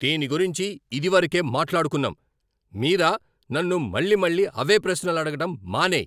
దీని గురించి ఇదివరకే మాట్లాడుకున్నాం, మీరా! నన్ను మళ్లీ మళ్లీ అవే ప్రశ్నలు అడగడం మానేయ్.